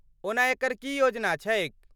ओना एकर की योजना छैक?